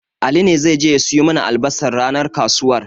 Ali ne zai je ya siyo mana albasar ranar kasuwar.